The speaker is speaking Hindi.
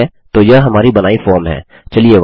ठीक है तो यह हमारी बनाई फॉर्म है